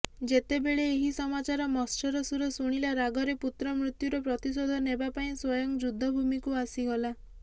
ଯେତେବେଳେ ଏହି ସମାଚାର ମତ୍ସରସୁର ଶୁଣିଲା ରାଗରେ ପୁତ୍ର ମୃତ୍ୟୁର ପ୍ରତିଶୋଧ ନେବାପାଇଁ ସ୍ୱୟଂ ଯୁଦ୍ଧଭୂମୀକୁ ଆସିଗଲା